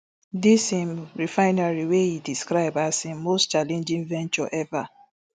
dis im refinery wey e describe as im most challenging venture ever